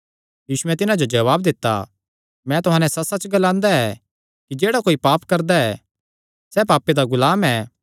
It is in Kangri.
यीशुयैं तिन्हां जो जवाब दित्ता मैं तुहां नैं सच्चसच्च ग्लांदा ऐ कि जेह्ड़ा कोई पाप करदा ऐ सैह़ पापे दा गुलाम ऐ